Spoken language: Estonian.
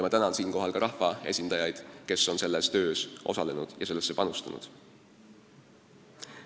Ma tänan siinkohal ka rahvaesindajaid, kes on selles töös osalenud ja sellesse panustanud.